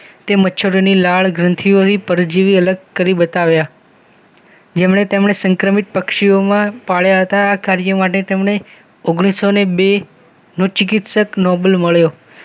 કે મચ્છરોની લાળગ્રંથીઓથી પરજીવી અલગ કરી બતાવ્યા જેમણે તેમણે સંક્રમિત પક્ષીઓમાં પાળ્યા હતા આ કાર્ય માટે તેમણે ઓગણીસૌ ને બે નો ચિકિત્સક નોબેલ મળ્યો